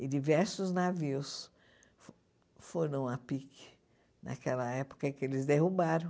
E diversos navios fo foram à PIC naquela época em que eles derrubaram.